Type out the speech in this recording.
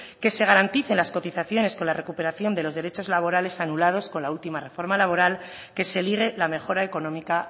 que se garanticen las cotizaciones con la recuperación de los derechos laborales anulados con la última reforma laboral y que se ligue la mejora económica